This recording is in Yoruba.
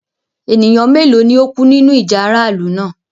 Ẹ̀nìyàn méloo ni o kú nínu ìjà aráàlù náà?